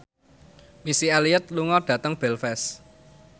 Missy Elliott lunga dhateng Belfast